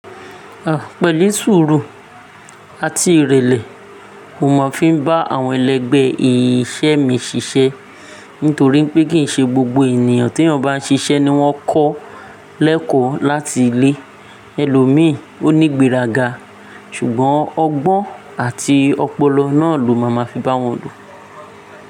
Ah, pẹ̀lú sùúrù àti ìrẹ̀lẹ̀, mo máa fi ń bá àwọn ẹlẹgbẹ́ iṣẹ́ mi ṣiṣẹ́. Nítorí pé kì í ṣe gbogbo ènìyàn t'eeyan n bá ń ṣiṣẹ́ ni wọ́n kọ́ lẹ́kọ̀ọ́ láti ilé. Ẹ̀lọ́mi, ó nígbèrága, ṣùgbọ́n ọgbọ́n àti ọpọlọ náà ló máa máa fi bá wọn lò.